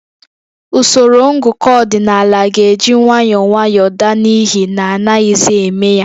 Usoro ngụkọ ọdịnaala ga-eji nwayọọ nwayọọ daa n'ihi na anaghịzi eme ya